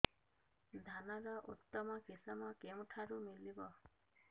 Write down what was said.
ଧାନର ଉତ୍ତମ କିଶମ କେଉଁଠାରୁ ମିଳିବ